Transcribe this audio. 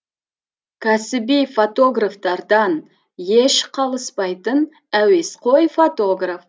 кәсіби фотографтардан еш қалыспайтын әуесқой фотограф